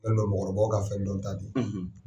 mɔgɔkɔrɔbaw ka fɛn dɔn ta de ye.